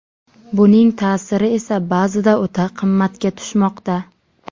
Buning ta’siri esa ba’zida o‘ta qimmatga tushmoqda.